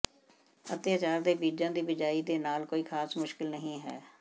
ਅਤਿਆਚਾਰ ਦੇ ਬੀਜਾਂ ਦੀ ਬਿਜਾਈ ਦੇ ਨਾਲ ਕੋਈ ਖਾਸ ਮੁਸ਼ਕਲ ਨਹੀਂ ਹੈ